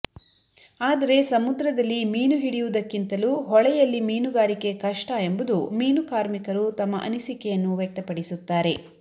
ಆದರೆ ಸಮುದ್ರದಲ್ಲಿ ಮೀನು ಹಿಡಿಯುವುದಕ್ಕಿಂತಲೂ ಹೊಳೆ ಯಲ್ಲಿ ಮೀನುಗಾರಿಕೆ ಕಷ್ಟ ಎಂಬುದು ಮೀನು ಕಾರ್ಮಿಕರು ತಮ್ಮ ಅನಿಸಿಕೆಯನ್ನು ವ್ಯಕ್ತಪಡಿಸುತ್ತಾರೆ